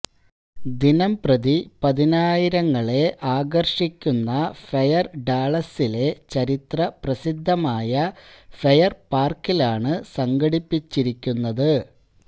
ദിനം പ്രതിപതിനായിരങ്ങളെ ആകർഷിക്കുന്ന ഫെയർ ഡാളസ്സിലെ ചരിത്ര പ്രസിദ്ധമായഫെയർ പാർക്കിലാണ് സംഘടിപ്പിച്ചിരിക്കുന്നത്